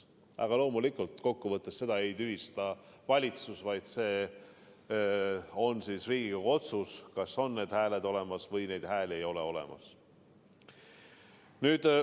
Aga loomulikult, kokku võttes seda ei tühista valitsus, vaid see on Riigikogu otsus, kas on need hääled olemas või neid hääli ei ole olemas.